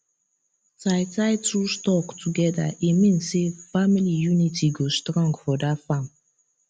tie tie two stalk together e mean say family unity go strong for that farm